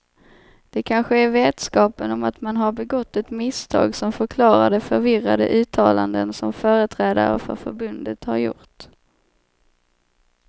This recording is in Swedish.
Det kanske är vetskapen om att man har begått ett misstag som förklarar de förvirrade uttalanden som företrädare för förbundet har gjort.